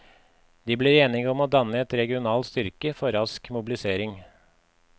De blir enige om å danne en regional styrke for rask mobilisering.